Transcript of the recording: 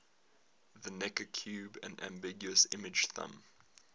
the necker cube an ambiguous image thumb